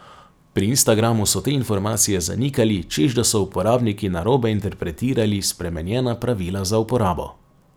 Pri Instagramu so te informacije zanikali, češ da so uporabniki narobe interpretirali spremenjena pravila za uporabo.